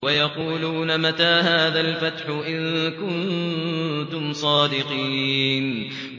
وَيَقُولُونَ مَتَىٰ هَٰذَا الْفَتْحُ إِن كُنتُمْ صَادِقِينَ